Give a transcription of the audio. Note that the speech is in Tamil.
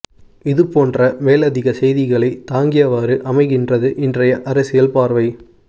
இது போன்ற மேலதிக செய்திகளை தாங்கியவாறு அமைகின்றது இன்றைய அரசியல் பார்வை